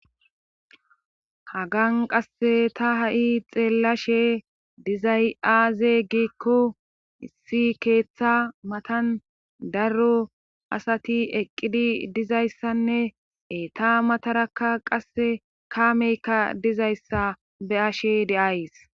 Hagan qa ha'i ta xeelashe dizay aaze giiko issi keetha mathan daro asati eqidi dizayssanne eeta mataraka kaamekka bizayssa be'ashe de'ays.